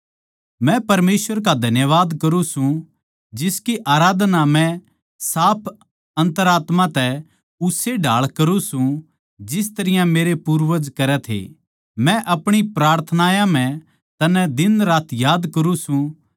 मै परमेसवर का धन्यवाद करूँ सूं जिसकी आराधना मै साफ अन्तरात्मा तै उस्से ढाळ करूँ सूं जिस तरियां मेरे पूर्वज करे थे मै अपणी प्रार्थनायां म्ह तन्नै दिन रात याद करूँ सूं